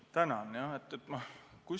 Tänan!